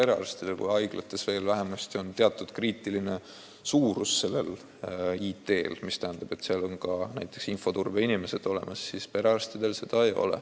Haiglates on IT-süsteemil vähemasti teatud kriitiline suurus olemas ja seal on ka infoturbeinimesed olemas, aga perearstidel seda ei ole.